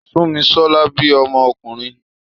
Súnmisọ́lá bí ọmọ ọkùnrin